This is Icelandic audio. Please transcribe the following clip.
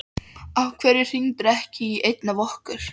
Af hverju hringdirðu ekki í einn af okkur?